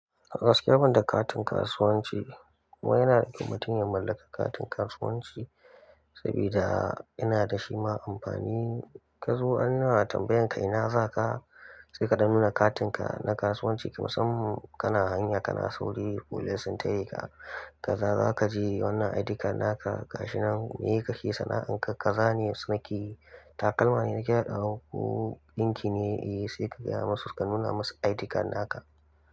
A gaskiya, banda katin kasuwanci, kuma yana da kyau mutun ya mallaka katin kasuwanci sabida yana da shi ma amfani. Ka zo an na tambayan ka ina za ka, sai ka dan nuna katinka na kasuwanci. Ki musam kana hanya kana sauri folis sun tare ka, kaza za ka je wannan ID card naka gashinan miye kake sana'anka, ka zane su nakeyi takalma ne nake da awo ko ɗinki ne, eh, seka gaya masu ka nuna masu ID card naka.